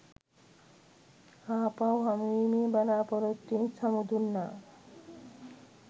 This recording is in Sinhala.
ආපහු හමුවීමේ බලාපොරොත්තුවෙන් සමු දුන්නා.